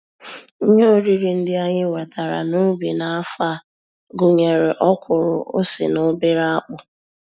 Ihe oriri ndị anyị wetara n'ubi n'afọ a gụnyere ọkwụrụ, ose, na obere akpụ.